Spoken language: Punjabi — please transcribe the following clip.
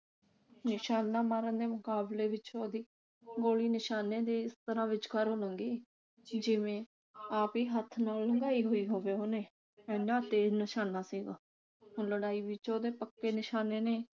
ਨਿਸ਼ਾਨਾ ਮਾਰਨ ਦੇ ਮੁਕਾਬਲੇ ਵਿਚ ਉਸ ਦੀ ਗੋਲੀ ਨਿਸ਼ਾਨੇ ਦੇ ਇਸ ਤਰ੍ਹਾਂ ਵਿਚਕਾਰੋਂ ਲੰਗੀ ਜਿਵੇਂ ਆਪ ਹੀ ਹੱਥ ਨਾਲ ਫੜਕੇ ਲੰਘਾਈ ਗਈ ਹੋਵੇ ਓਹਨੇ ਇੰਨਾ ਤੇਜ ਨਿਸ਼ਾਨਾ ਸੀਗਾ ਓਹਦਾ। ਲੜਾਈ ਵਿਚ ਉਹਦੇ ਪੱਕੇ ਨਿਸ਼ਾਨੇ ਨੇ